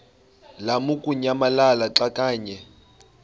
lamukunyamalala xa kanye